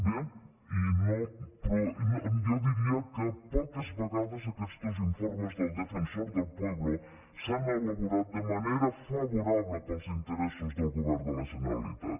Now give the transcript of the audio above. bé jo diria que poques vegades aquestos informes del defensor del pueblo s’han elaborat de manera favorable als interessos del govern de la generalitat